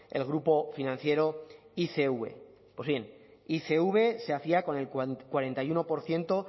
el grupo financiero icv pues bien icv se hacía con el cuarenta y uno por ciento